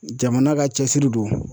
Jamana ka cɛsiri don.